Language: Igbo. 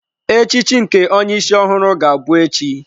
Echichi nke onye isi ọhụrụ ga-abụ echi.